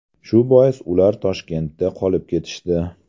Shu bois ular Toshkentda qolib ketishdi.